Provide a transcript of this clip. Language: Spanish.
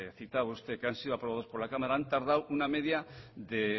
citaba usted que han sido aprobados por la cámara han tardado una media de